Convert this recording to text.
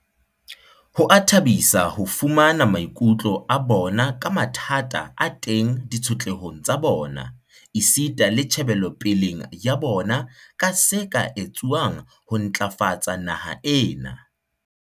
Ho a thabisa ho fumana maikutlo a bona ka mathata a teng ditshotlehong tsa bona, esita le tjhe belopeleng ya bona ka se ka etsuwang ho ntlafatsa naha ena.